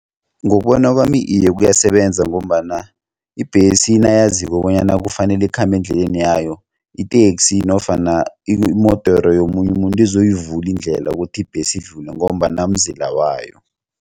Ngokubona kwami iye kuyasebenza ngombana ibhesi nayaziko bonyana kufanele ikhambe endleleni yayo iteksi nofana imodoro yomunye umuntu izoyivula indlela ukuthi ibhesi idlule ngombana mzila wayo.